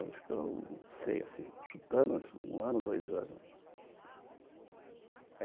Acho que durou, sei assim, chutando, um ano, dois anos.